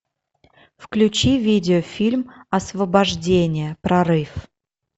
включи видеофильм освобождение прорыв